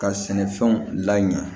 Ka sɛnɛfɛnw laɲan